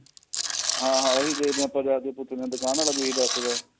ਹਾਂ ਹਾਂ ਉਹੀ ਦੇਖਦੇ ਹਾਂ ਆਪਾਂ ਜਾਕੇ ਪੁਛ ਦੇ ਹਾਂ ਦੁਕਾਨ ਵਾਲਾ ਵੀ ਏਹੀ ਦੱਸਦਾ